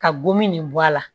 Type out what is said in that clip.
Ka gomi nin bɔ a la